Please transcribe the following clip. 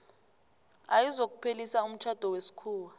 ayizokuphelisa umtjhado wesikhuwa